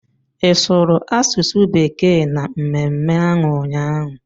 Ị sụrụ asụsụ bekee na mmemme ahụ ụnyaahụ?